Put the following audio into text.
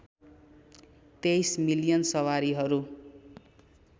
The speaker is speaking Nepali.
२३ मिलियन सवारीहरू